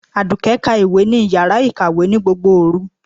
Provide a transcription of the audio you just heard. Àdùkẹ́ ka ìwé ní yàrá ìkàwé ní gbogbo òru.